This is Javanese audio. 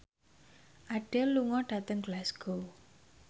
Adele lunga dhateng Glasgow